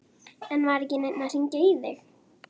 En var ekki neinn að hringja í þig?